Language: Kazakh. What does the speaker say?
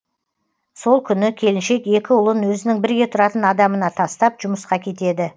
сол күні келіншек екі ұлын өзінің бірге тұратын адамына тастап жұмысқа кетеді